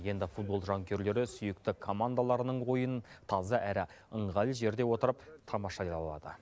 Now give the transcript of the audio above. енді футбол жанкүйерлері сүйікті командаларының ойынын таза әрі ыңғайлы жерде отырып тамашай ала алады